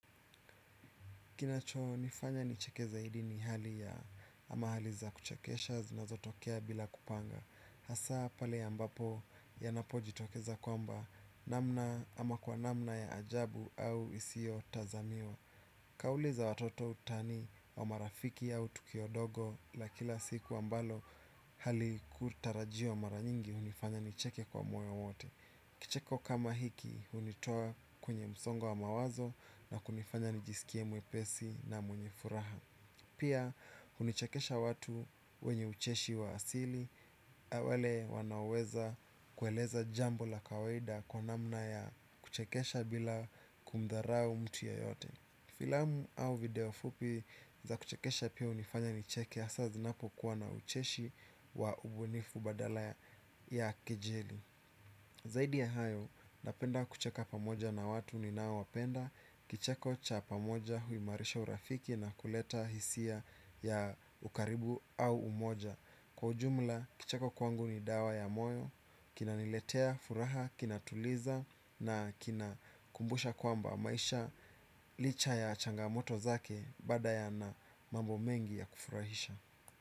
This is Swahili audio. Kinachonifanya nicheke zaidi ni hali ya ama hali za kuchekesha zinazotokea bila kupanga. Hasa pale ambapo yanapojitokeza kwamba namna ama kwa namna ya ajabu au isiyotazamiwa. Kauli za watoto utani wa marafiki au tukiwa wadogo la kila siku ambalo halikutarajiwa mara nyingi hunifanya nicheke kwa moyo wote. Kicheko kama hiki hunitoa kwenye msongo wa mawazo na kunifanya nijiskie mwepesi na mwenye furaha. Pia hunichekesha watu wenye ucheshi wa asili na wale wanaoweza kueleza jambo la kawaida kwa namna ya kuchekesha bila kumdharau mtu ya yeyote. Filamu au video fupi za kuchekesha pia hunifanya nicheke hasa zinapokuwa na ucheshi wa ubunifu badala ya kejeli. Zaidi ya hayo, napenda kucheka pamoja na watu ninaowapenda, kicheko cha pamoja huimarisha urafiki na kuleta hisia ya ukaribu au umoja. Kwa ujumla, kicheko kwangu ni dawa ya moyo, kinaniletea, furaha, kinatuliza na kinakumbusha kwamba maisha licha ya changamoto zake bado yana mambo mengi ya kufurahisha.